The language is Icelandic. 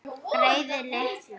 Greyið litla!